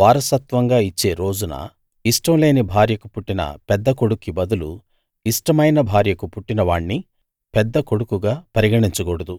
వారసత్వంగా ఇచ్చే రోజున ఇష్టం లేని భార్యకు పుట్టిన పెద్ద కొడుక్కి బదులు ఇష్టమైన భార్యకు పుట్టినవాణ్ణి పెద్ద కొడుకుగా పరిగణించకూడదు